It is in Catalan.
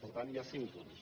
per tant hi ha cinc punts